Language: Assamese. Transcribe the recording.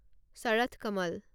শাৰথ কমল